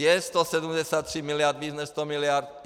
Je 173 miliard víc než 100 miliard?